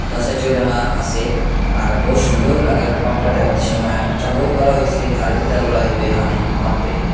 সাইটেও লেখা আসে আর বহুত সুন্দর লাগে এর পাম্পটা দেখতে সময় এটা বহুত ভালো হয়েসে গাড়ির তেল ভরা যাইবে এখানে পাম্পে।